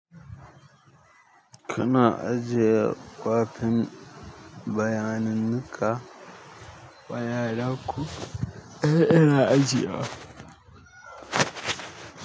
Kana ajiye kwafin bayaninka wa yaran ku? Ina ajiye wa.